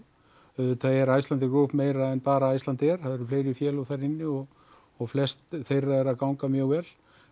auðvitað er Icelandair Group meira en bara Icelandair það eru önnur félög þar inni og og flest þeirra eru að ganga mjög vel